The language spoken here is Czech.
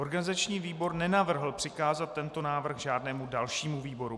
Organizační výbor nenavrhl přikázat tento návrh žádnému dalšímu výboru.